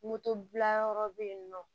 Moto bila yɔrɔ bɛ yen nɔ